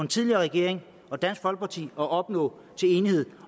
tidligere regering og dansk folkeparti at opnå en enighed